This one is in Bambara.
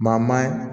Maa maa ye